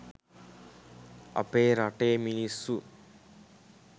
අපේ රටේ මිනිස්සු